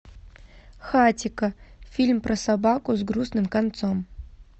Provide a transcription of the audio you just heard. хатико фильм про собаку с грустным концом